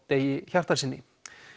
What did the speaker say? Degi Hjartarsyni